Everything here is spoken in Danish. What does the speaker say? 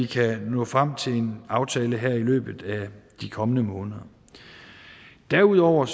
kan nå frem til en aftale her i løbet af de kommende måneder derudover